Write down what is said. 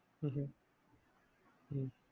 ഉം അഹ്